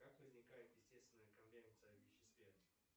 как возникает естественная конвенция в веществе